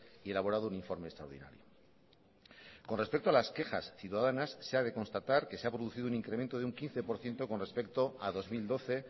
y elaborado un informe extraordinario con respecto a las quejas ciudadanas se ha de constatar que se ha producido un incremento de un quince por ciento con respecto a dos mil doce